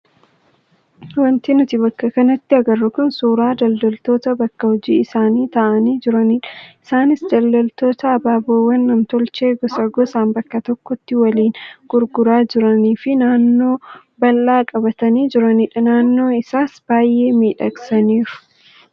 Wanti nuti bakka kanatti agarru kun suuraa daldaltoota bakka hojii isaanii taa'anii jiranidha. Isaanis daldaltoota ababaawwan namtolchee gosa gosaan bakka tokkotti waliin gurguraa jiranii fi naannoo bal'aa qabatanii jiranidha. Naannoo isaas baay'ee miidhagsaniiru.